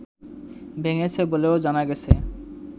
ভেঙেছে বলেও জানা গেছে